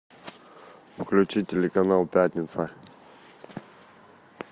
включи телеканал пятница